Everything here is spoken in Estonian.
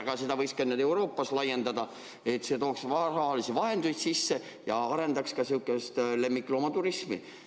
Aga seda võiks ka mujale Euroopas laiendada, see tooks rahalisi vahendeid sisse ja arendaks ka lemmikloomaturismi.